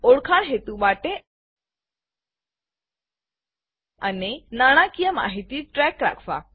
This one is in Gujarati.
ઓળખાણ હેતુ માટે અને તમામ નાણાકીય માહિતીને ટ્રૅક રાખવા